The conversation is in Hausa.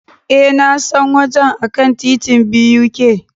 E, Na san wajen a kan titin BUK.